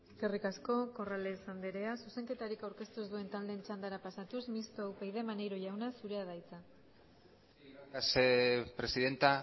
eskerrik asko corrales andrea zuzenketarik aurkeztu ez duen taldeen txandara pasatuz mistoa upyd maneiro jauna zurea da hitza gracias presidenta